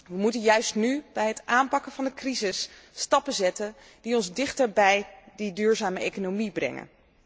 We moeten juist nu bij het aanpakken van de crisis stappen zetten die ons dichter bij die duurzame economie brengen.